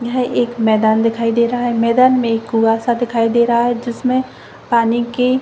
यह एक मैदान दिखाई दे रहा है मैदान में कुवा सा दिखाई दे रहा है जिसमें पानी की--